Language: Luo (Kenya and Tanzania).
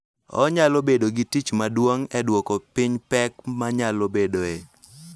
Onyalo bedo gi tich maduong� e duoko piny pek manyalo bedoe